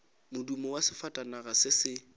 modumo wa sefatanaga se se